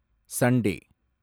Sunday